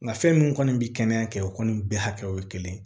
Nka fɛn min kɔni bɛ kɛnɛya kɛ o kɔni bɛɛ hakɛ o ye kelen ye